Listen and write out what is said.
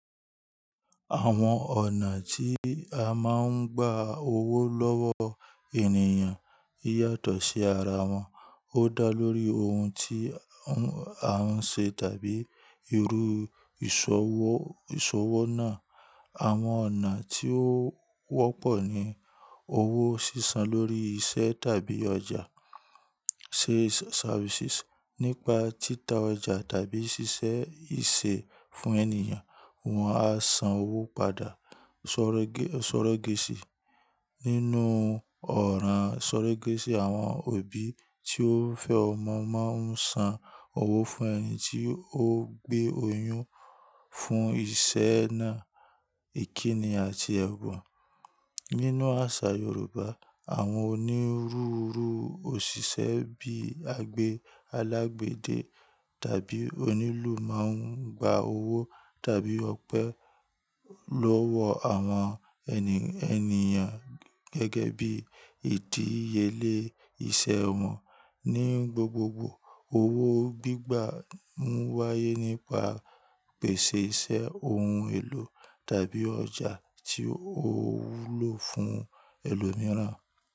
Àwọn ọ̀nà tí a máa ń gba owó lọ́wọ́ ènìyàn o yàtọ̀ sí ara wọn, ó dá lórí ohun tí a ń ṣe tàbí irú ìṣòwò ìṣòwò náà. Àwọn ọ̀nà tí ó wọ́pọ̀ ni owó sísan lórí iṣẹ́ tàbí ọjà. Sales services nípa títa ọjà tàbí ṣiṣẹ́ ìṣe fún ènìyàn, wọn a san owó padà. Sọ̀rọ̀ gẹ̀sì: nínú ọ̀rọ̀ sọ̀rọ̀ gẹ̀sì, àwọn òbí tí ó fẹ́ ọmọ máa ń san owó fún ẹni tí ó gbé oyún fún iṣẹ́ náà. Ìkíni àti ẹ̀bọ̀: nínú àṣà Yorùbá, àwọn onírúurú òṣìṣẹ́ bíi àgbẹ̀ alágbẹ̀dẹ tàbí onílù máa ń gba owó tàbí ọpẹ́ lọ́wọ́ àwọn ènìyàn gẹ́gẹ́ bí ìdíye lé iṣẹ́ wọn. Ní gbogbogbò, owó gbígbà mú wáyé nípa pèsè iṣẹ́ ohun èlò tàbí ọjà tí ó wúlò fún ẹlòmíràn.